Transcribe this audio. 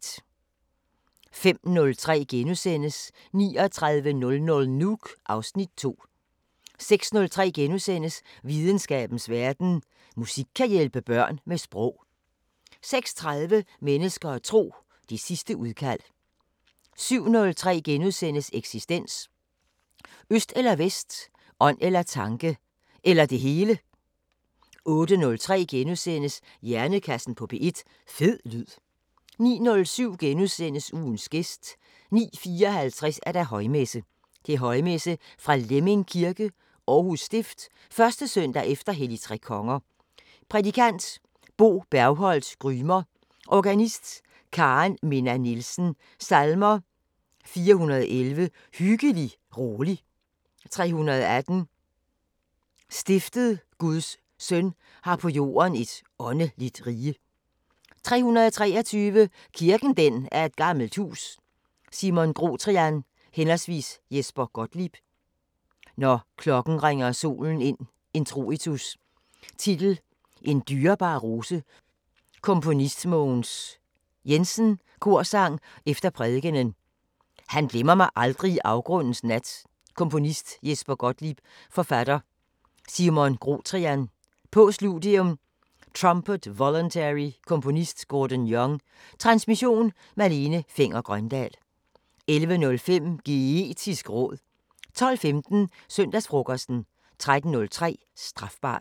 05:03: 3900 Nuuk (Afs. 2)* 06:03: Videnskabens Verden: Musik kan hjælpe børn med sprog * 06:30: Mennesker og Tro: Det sidste udkald 07:03: Eksistens: Øst eller Vest. Ånd eller tanke. Eller det hele. * 08:03: Hjernekassen på P1: Fed lyd * 09:07: Ugens gæst * 09:54: Højmesse - Højmesse fra Lemming Kirke. Aarhus Stift. 1. søndag efter helligtrekonger Prædikant: Bo Bergholt Grymer Organist: Karen-Minna Nielsen Salmer: 411: Hyggelig, rolig 318: Stiftet Guds søn har på jorden et åndeligt rige 323: Kirken den er et gammelt hus Simon Grotrian/ Jesper Gottlieb: Når klokken ringer solen ind Introitus Titel: "En dyrebar rose" Komponist: Mogens Jensen Korsang efter prædikenen Han glemmer mig aldrig i afgrundens nat Komponist: Jesper Gottlieb Forfatter: Simon Grotrian Postludium: Trumpet voluntary Komponist: Gordon Young Transmission: Malene Fenger-Grøndahl 11:05: Geetisk råd 12:15: Søndagsfrokosten 13:03: Strafbart